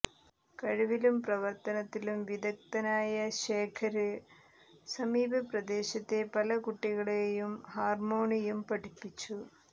കഴിവിലും പ്രവര്ത്തനത്തിലും വിദഗ്ധനായ ശേഖര് സമീപ പ്രദേശത്തെ പല കുട്ടികളെയും ഹാര്മ്മോണിയം പഠിപ്പിച്ചു